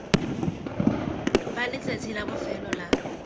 fa letsatsi la bofelo la